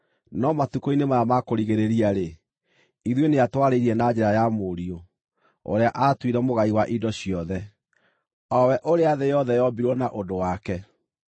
no matukũ-inĩ maya ma kũrigĩrĩria-rĩ, ithuĩ nĩatwarĩirie na njĩra ya Mũriũ, ũrĩa aatuire mũgai wa indo ciothe, o we ũrĩa thĩ yothe yombirwo na ũndũ wake.